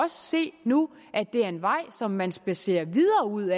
se nu at det er en vej som man spadserer videre ud